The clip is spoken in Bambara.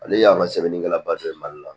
Ale y'an ka sɛbɛnnikɛlaba dɔ ye mali la